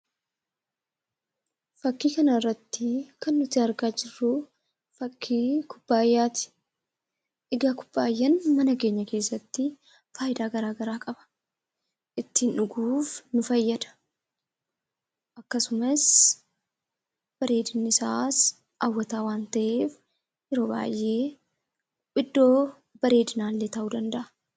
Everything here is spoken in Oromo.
Fakkii kanarratti kan nuti argaa jirru fakkii kubbaayyaati. Egaa kubbaayyaan mana keenya keessatti faayidaa gara garaa qaba. Ittiin dhuguuf nu fayyada. Akkasumas bareedinni isaa hawwataa waan ta’eef yeroo baay'ee iddoo bareedinaa illee taa'uu ni danda’a.